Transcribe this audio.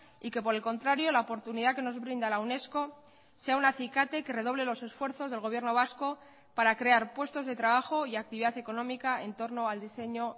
y que por el contrario la oportunidad que nos brinda la unesco sea un acicate que redoble los esfuerzos del gobierno vasco para crear puestos de trabajo y actividad económica en torno al diseño